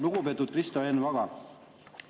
Lugupeetud Kristo Enn Vaga!